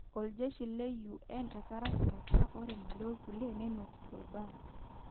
Oljeshi le UN etaraki metwa ore Mali orkulie nenotito irbaa.